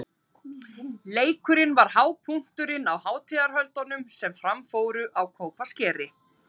Leikurinn var hápunkturinn á hátíðarhöldum sem fram fóru á Kópaskeri.